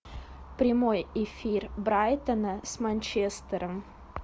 прямой эфир брайтона с манчестером